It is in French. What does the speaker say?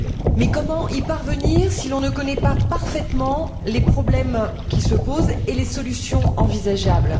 Mais comment y parvenir si l'on ne connaît pas parfaitement les problèmes qui se posent et les solutions envisageables?